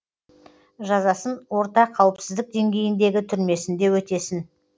жазасын орта қауіпсіздік деңгейіндегі түрмесінде өтесін